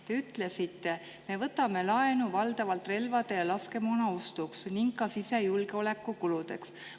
Te ütlesite: "Me võtame laenu valdavalt relvade ja laskemoona ostuks ning ka sisejulgeoleku kuludeks.